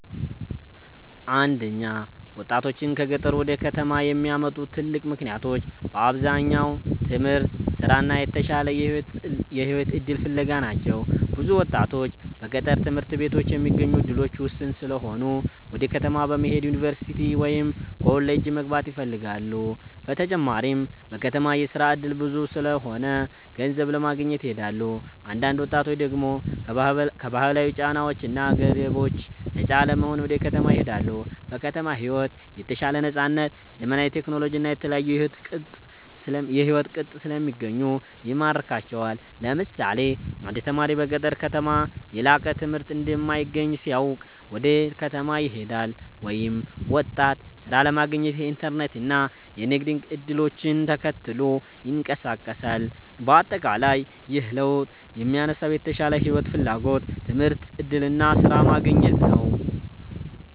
1ወጣቶችን ከገጠር ወደ ከተማ የሚያመጡ ትልቅ ምክንያቶች በአብዛኛው ትምህርት፣ ስራ እና የተሻለ የህይወት እድል ፍለጋ ናቸው። ብዙ ወጣቶች በገጠር ትምህርት ቤቶች የሚገኙ እድሎች ውስን ስለሆኑ ወደ ከተማ በመሄድ ዩኒቨርሲቲ ወይም ኮሌጅ መግባት ይፈልጋሉ። በተጨማሪም በከተማ የስራ እድል ብዙ ስለሆነ ገንዘብ ለማግኘት ይሄዳሉ። አንዳንድ ወጣቶች ደግሞ ከባህላዊ ጫናዎች እና ገደቦች ነፃ ለመሆን ወደ ከተማ ይሄዳሉ። በከተማ ሕይወት የተሻለ ነፃነት፣ ዘመናዊ ቴክኖሎጂ እና የተለያዩ የሕይወት ቅጥ ስለሚገኙ ይማርካቸዋል። ለምሳሌ አንድ ተማሪ በገጠር ከተማ የላቀ ትምህርት እንደማይገኝ ሲያውቅ ወደ ከተማ ይሄዳል፤ ወይም ወጣት ሥራ ለማግኘት የኢንተርኔት እና የንግድ እድሎችን ተከትሎ ይንቀሳቀሳል። በአጠቃላይ ይህ ለውጥ የሚነሳው የተሻለ ሕይወት ፍላጎት፣ ትምህርት እድል እና ስራ ማግኘት ነው።